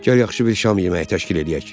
Gəl yaxşı bir şam yeməyi təşkil eləyək.